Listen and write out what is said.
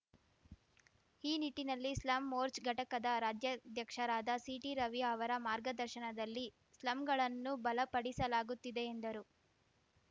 ಈ ನಿಟ್ಟಿನಲ್ಲಿ ಸ್ಲಂ ಮೋರ್ಚ್ ಘಟಕದ ರಾಜ್ಯಾಧ್ಯಕ್ಷರಾದ ಸಿಟಿರವಿ ಅವರ ಮಾರ್ಗದರ್ಶನದಲ್ಲಿ ಸ್ಲಂಗಳನ್ನು ಬಲಪಡಿಸಲಾಗುತ್ತಿದೆ ಎಂದರು